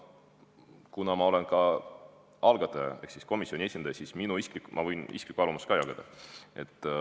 Kuna ma olen ka algataja ehk komisjoni esindaja, siis ma võin isiklikku arvamust jagada.